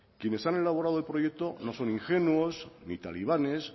quienes han elaborado el proyecto no son ingenuos ni talibanes